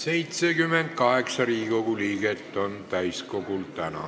78 Riigikogu liiget on täna täiskogul.